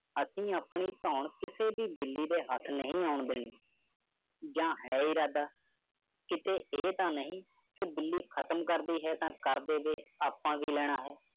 ਅਸੀਂ ਆਪਣੀ ਧੌਣ ਕਿਸੇ ਵੀ ਬਿੱਲੀ ਦੇ ਹੱਥ ਨਹੀਂ ਆਉਣ ਦੇਣੀ ਯਾਂ ਹੈ ਇਰਾਦਾ। ਕਿਤੇ ਇਹ ਤਾਂ ਨਹੀਂ ਕਿ ਬਿੱਲੀ ਖਤਮ ਕਰਦੀ ਹੈ ਤਾਂ ਕਰ ਦੇਵੇ ਆਪਾਂ ਕੀ ਲੈਣਾ ਹੈ।